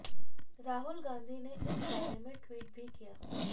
राहुल गांधी ने इस बारे में ट्वीट भी किया